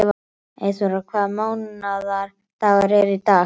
Hverjum ætti mamma svo sem að gefa mynd af þeim?